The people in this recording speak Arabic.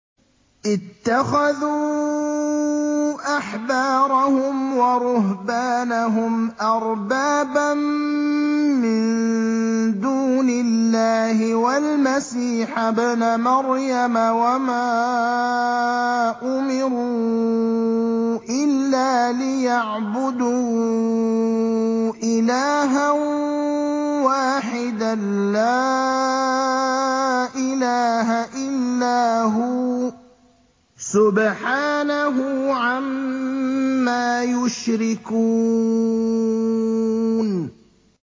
اتَّخَذُوا أَحْبَارَهُمْ وَرُهْبَانَهُمْ أَرْبَابًا مِّن دُونِ اللَّهِ وَالْمَسِيحَ ابْنَ مَرْيَمَ وَمَا أُمِرُوا إِلَّا لِيَعْبُدُوا إِلَٰهًا وَاحِدًا ۖ لَّا إِلَٰهَ إِلَّا هُوَ ۚ سُبْحَانَهُ عَمَّا يُشْرِكُونَ